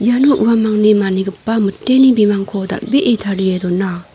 iano uamangni manigipa miteni bimangko dal·bee tarie dona.